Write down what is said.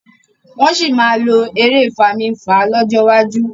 wón sí lọ èrè Fami-nfa lójó wájú.